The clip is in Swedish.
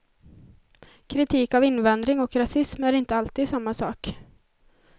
Kritik av invandring och rasism är inte alltid samma sak.